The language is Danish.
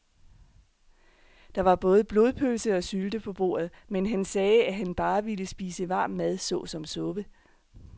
Der var både blodpølse og sylte på bordet, men han sagde, at han bare ville spise varm mad såsom suppe.